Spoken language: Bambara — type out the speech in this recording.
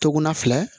Toguna filɛ